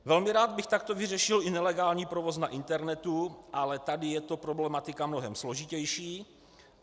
Velmi rád bych takto vyřešil i nelegální provoz na internetu, ale tady je to problematika mnohem složitější.